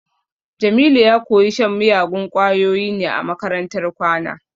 Jamilu ya koyi shan miyagun kwayoyi ne a makarantar kwana